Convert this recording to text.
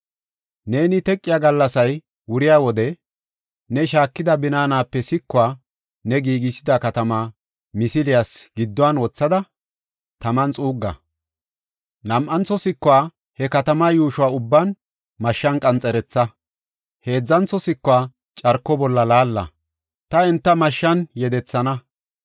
Neeni teqiya gallasay wuriya wode, ne shaakida binaanape sikuwa ne giigisida katama misiliyas gidduwan wothada taman xuugga. Nam7antho sikuwa he katamaa yuushuwa ubban mashshan qanxeretha. Heedzantho sikuwa carko bolla laalla; ta enta mashshan yedethana.